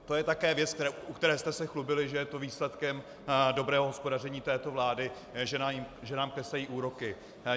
To je také věc, u které jste se chlubili, že je to výsledkem dobrého hospodaření této vlády, že nám klesají úroky.